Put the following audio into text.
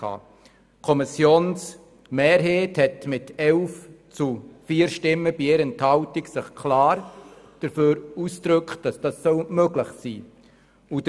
Die Kommissionsmehrheit hat sich mit 11 gegen 4 Stimmen bei 1 Enthaltung klar dafür ausgesprochen, dass dies möglich sein soll.